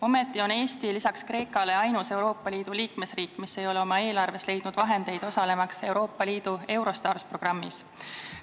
Ometi on Eesti peale Kreeka ainus Euroopa Liidu liikmesriik, kes ei ole oma eelarvest leidnud vahendeid, osalemaks Euroopa Liidu Eurostarsi programmis.